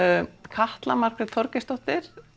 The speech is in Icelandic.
Katla Margrét Þorgeirsdóttir